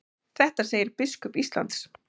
Þetta segir biskup Íslands.